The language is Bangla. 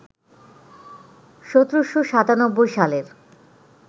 ১৭৯৭ সালের